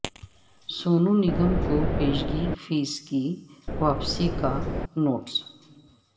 سونو نگم کو پیشگی فیس کی واپسی کا نوٹس